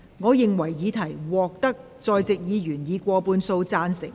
我認為議題獲得在席議員以過半數贊成。